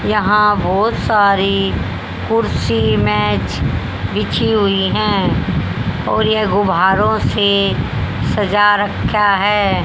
यहां बहोत सारी कुर्सी मेज बिछी हुई है और यह घुब्बारो से सजा रख्या है।